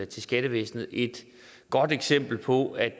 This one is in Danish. til skattevæsenet et godt eksempel på at